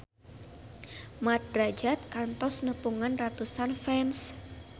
Mat Drajat kantos nepungan ratusan fans